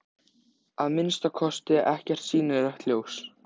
Eftir að haustaði komu engir, nema farþegar með rútunni.